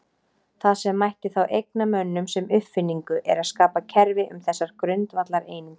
Það sem mætti þá eigna mönnum sem uppfinningu er að skapa kerfi um þessar grundvallareiningar.